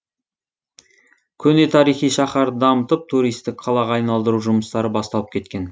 көне тарихи шаһарды дамытып туристік қалаға айналдыру жұмыстары басталып кеткен